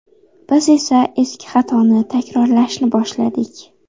Biz esa eski xatoni takrorlashni boshladik.